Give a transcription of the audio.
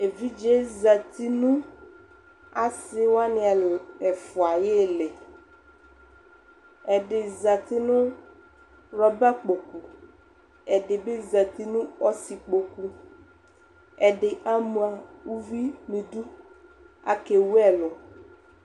Evidze yɛ zati nʋ asɩ wanɩ ɛl, ɛfʋa ayʋ ɩɩlɩ Ɛdɩ zati nʋ rɔbakpoku Ɛdɩ bɩ zati nʋ ɔsɩkpoku Ɛdɩ ama uvi nʋ idu Akewu ɛlʋ